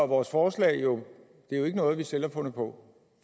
vores forslag jo det ikke noget vi selv har fundet på